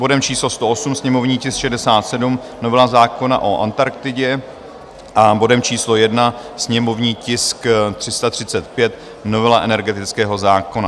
bodem číslo 108, sněmovní tisk 67, novela zákona o Antarktidě, a bodem číslo 1, sněmovní tisk 335, novela energetického zákona.